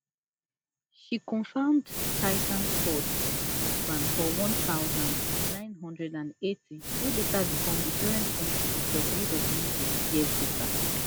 she cofound titan sports wit her husband for one thousand, nine hundred and eighty wey later become di parent company of wwe years later